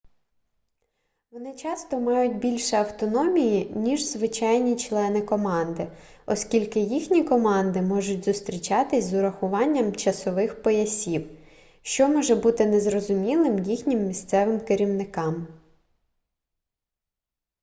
вони часто мають більше автономії ніж звичайні члени команди оскільки їхні команди можуть зустрічатись з урахуванням часових поясів що може бути незрозумілим їхнім місцевим керівникам